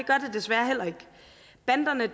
desværre heller ikke banderne